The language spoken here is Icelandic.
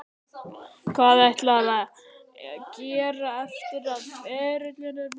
Hvað ætlarðu að gera eftir að ferilinn er búinn?